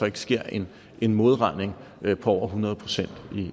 ikke sker en en modregning på over hundrede procent